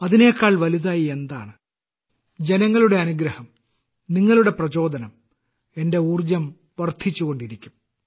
അതിനേക്കാൾ വലുതായ് എന്താണ് ജനങ്ങളുടെ അനുഗ്രഹം നിങ്ങളുടെ പ്രചോദനം എന്റെ ഊർജ്ജം വർദ്ധിച്ചുകൊണ്ടിരിക്കും